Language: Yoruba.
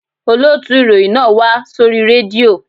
Olóòtù ìròyìn náà máa wá sórí rédíò